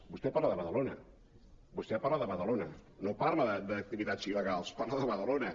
vostè parla de badalona vostè parla de badalona no parla d’activitats il·legals parla de badalona